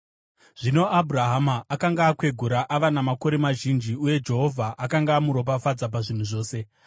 Zvino Abhurahama akanga akwegura ava namakore mazhinji, uye Jehovha akanga amuropafadza pazvinhu zvose.